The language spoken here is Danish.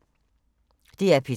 DR P3